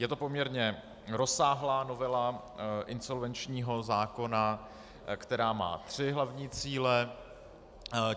Je to poměrně rozsáhlá novela insolvenčního zákona, která má tři hlavní cíle.